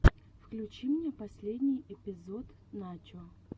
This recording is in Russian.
включи мне последний эпизод начо